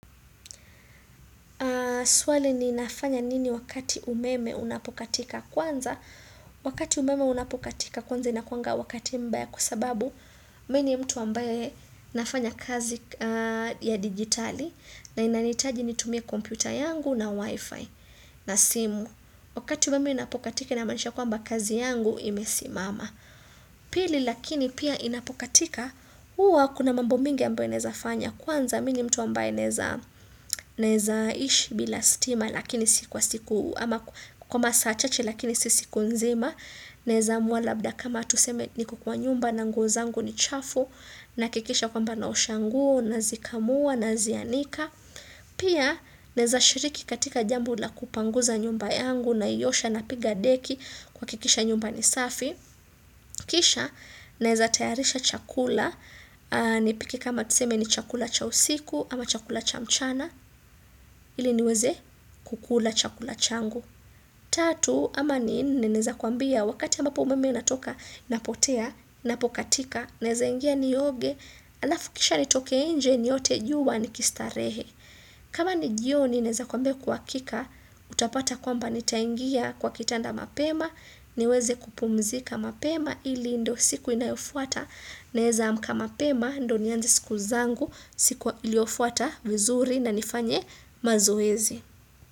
Swali ni nafanya nini wakati umeme unapokatika kwanza? Wakati umeme unapokatika kwanza inakuwanga wakati mbaya kwa sababu mi ni mtu ambaye nafanya kazi ya digitali na inanihitaji nitumie kompyuta yangu na wifi na simu. Wakati umeme inapokatika inamaanisha kwamba kazi yangu imesimama. Pili lakini pia inapokatika huwa kuna mambo mengi ambayo inaweza fanya kwanza mi ni mtu ambaye naweza naweza ishi bila stima lakini si kwa siku ama kwa masaa chache lakini si siku nzima naweza amua labda kama tuseme niko kwa nyumba na nguo zangu ni chafu nahakikisha kwamba naosha nguo nazikamua nazianika pia naweza shiriki katika jambo la kupanguza nyumba yangu naiosha napiga deki kuhakikisha nyumba ni safi kisha naweza tayarisha chakula nipike kama tuseme ni chakula cha usiku ama chakula cha mchana, ili niweze kukula chakula changu. Tatu, ama ni nne naweza kuambia wakati ambapo umeme unatoka, napotea, napokatika, naweza ingia nioge halafu kisha nitoke nje niote jua n kistarehe. Kama ni jioni, naweza kuambia kwa hakika, utapata kwamba nitaingia kwa kitanda mapema, niweze kupumzika mapema, ili ndo siku inayofuata, naweza amka mapema, ndo nianze siku zangu, siku iliofuata vizuri na nifanye mazoezi.